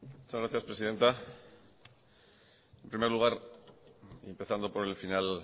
muchas gracias presidenta en primer lugar y empezando por el final